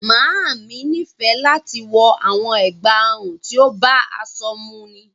Máamì ní fẹ̀ láti wọ awọn ègbá-ọ̀run tí ó bá aṣọ múnnì